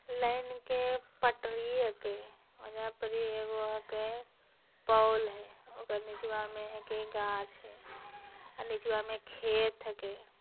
लेन के पटरिये के ओएजा पर एगो पोल है ओकर निचवा में एके गाछ हई अ नीचवा में खेत हके।